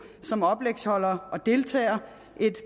som oplægsholdere og deltagere